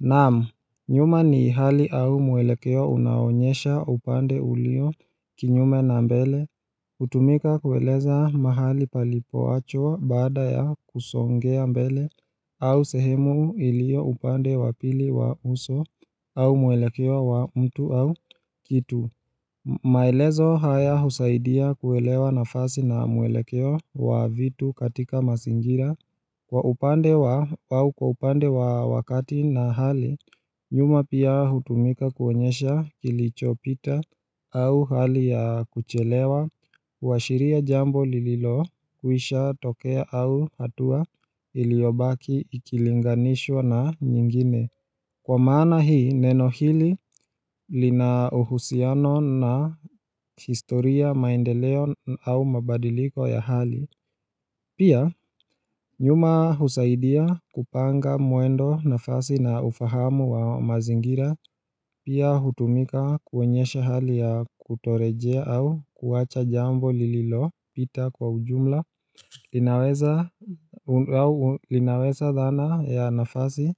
Naam, nyuma ni hali au mwelekeo unaoonyesha upande ulio kinyume na mbele, hutumika kueleza mahali palipoachwa baada ya kusongea mbele au sehemu iliyo upande wa pili wa uso au mwelekeo wa mtu au kitu maelezo haya husaidia kuelewa nafasi na mwelekeo wa vitu katika mazingira. Kwa upande wa wakati na hali, nyuma pia hutumika kuonyesha kilichopita au hali ya kuchelewa huashiria jambo lililokwisha tokea au hatua iliyobaki ikilinganishwa na nyingine. Kwa maana hii, neno hili lina uhusiano na historia, maendeleo au mabadiliko ya hali Pia nyuma husaidia kupanga mwendo, nafasi na ufahamu wa mazingira Pia hutumika kuonyesha hali ya kutorejea au kuwacha jambo lililopita kwa ujumla linaweza dhana ya nafasi,